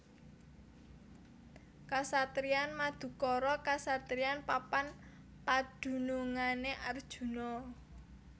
Kasatriyan Madukara kasatriyan papan padunungané Arjuna